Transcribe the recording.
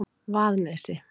Vaðnesi